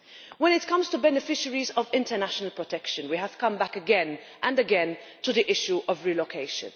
When it comes to beneficiaries of international protection, we have come back again and again to the issue of relocation.